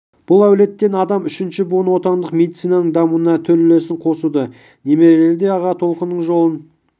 бұл әулеттен адам үшінші буыны отандық медицинаның дамуына төл үлесін қосуда немерелері де аға толқынның жолын